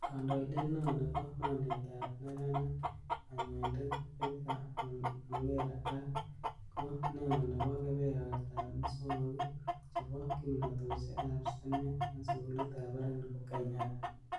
Kandoindet neo nebo mornetab neranik, konyoindet Victor Mwongera, ak ko neo en kebebertab muswogiik chebo kimnotosiek ab sitimet en sugulitab barak nebo Kenyatta.